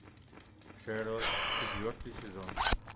шерлок четвертый сезон